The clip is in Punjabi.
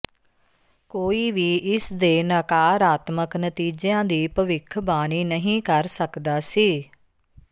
ਕੋਈ ਵੀ ਇਸਦੇ ਨਕਾਰਾਤਮਕ ਨਤੀਜਿਆਂ ਦੀ ਭਵਿੱਖਬਾਣੀ ਨਹੀਂ ਕਰ ਸਕਦਾ ਸੀ